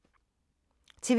TV 2